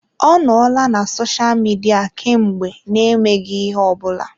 Ọ nọọla na sosha Midia kemgbe n'emeghị ihe ọ bụla.